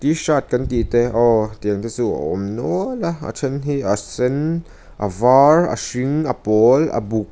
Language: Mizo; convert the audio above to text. shirt kan tih te aw tiang te chu a awm nual a a then hi a sen a var a hring a pawl a buk.